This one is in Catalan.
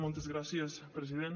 moltes gràcies president